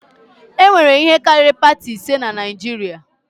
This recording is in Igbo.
E nwere ihe karịrị pati ise na Naịjirịa